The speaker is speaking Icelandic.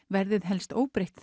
verðið helst óbreytt